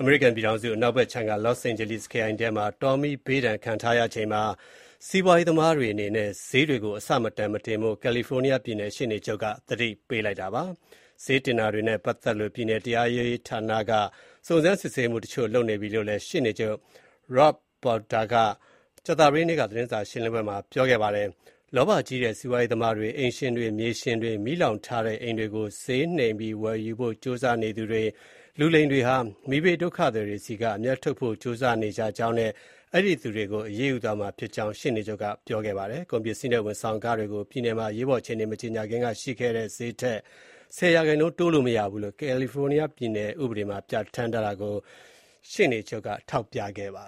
အမေရိကန်ပြည်ထောင်စု အနောက်ဘက်ခြမ်းက Los Angeles ခရိုင်ထဲမှာ မီးဘေးဒဏ်ခံထားရချိန်မှာ စီးပွားရေးသမားတွေအနေနဲ့ ဈေးတွေကို အဆမတန် မတင်ဖို့ California ပြည်နယ်ရှေ့နေချုပ်က သတိပေးလိုက်ပါတယ်။ ဈေးတင်တာတွေနဲ့ပတ်သက်လို့ ပြည်နယ်တရားရေးဌာနက စုံစမ်းစစ်ဆေးမှုတချို့လုပ်နေပြီလို့ ရှေ့နေချုပ် Rob Bonta ကကြာသပတေးနေ့က သတင်းစာရှင်းပွဲမှာ ပြောကြားခဲ့တာဖြစ်ပါတယ်။ လောဘကြီးတဲ့ စီးပွားရေးသမားတွေ၊ အိမ်ရှင်တွေ၊ မြေရှင်တွေ၊ မီးလောင်ထားတဲ့အိမ်တွေကို ဈေးနှိမ်ပြီးဝယ်ဖို့ကြိုးစားနေသူတွေ၊ လူလိမ်တွေဟာ မီးဘေးဒုက္ခသည်တွေဆီက အမြတ်ထုတ်ဖို့ ကြိုးစားနေကြကြောင်းနဲ့ အဲဒီသူတွေကို အရေးယူသွားမှာဖြစ်ကြောင်း ရှေ့နေချုပ်က ပြောခဲ့ပါတယ်။ ကုန်ပစ္စည်းနဲ့ ဝန်ဆောင်ခတွေကို ပြည်နယ်မှာ အရေးပေါ်အခြေအနေ မကြေညာခင်ကရှိခဲ့တဲ့ဈေးထက် ၁၀ ရာခိုင်နှုန်း တိုးလို့မရဘူးလို့ California ပြည်နယ်ဥပဒေမှာ ပြဌာန်းထားတာကို ပြည်နယ်ရှေ့နေချုပ် က ထောက်ပြပါ